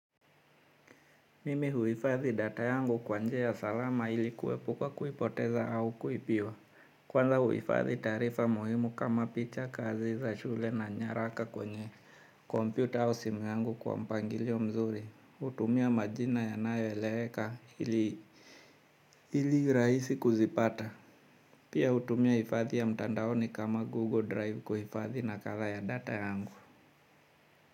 Mimi huifadhi data yangu kwa njia salama ili kuepuka kuipoteza au kuibiwa. Kwanza huifadhi taarifa muhimu kama picha, kazi za shule na nyaraka kwenye computer au simu yangu kwa mpangilio mzuri. Hutumia majina yanayoeleweka ili rahisi kuzipata. Pia hutumia hifadhi ya mtandaoni kama Google Drive kuhifadhi nakala ya data yangu.